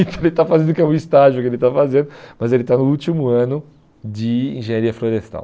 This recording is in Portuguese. Então ele está fazendo o que é um estágio que ele está fazendo, mas ele está no último ano de engenharia florestal.